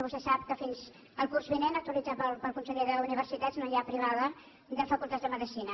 vostè sap que fins al curs vinent autoritzada pel conseller d’universitats no hi ha privada de facultats de medicina